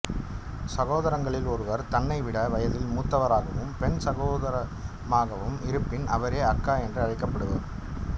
சகோதரங்களில் ஒருவர் தன்னைவிட வயதில் மூத்தவராகவும் பெண் சகோதரமாகவும் இருப்பின் அவரே அக்கா என்று அழைக்கப்படுவார்